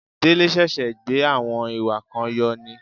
Délé ṣẹ̀ṣẹ̀ gbé àwọn ìwà kan yọ ni